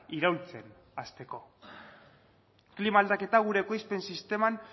iraultzen hasteko klima aldaketa gure ekoizpen sisteman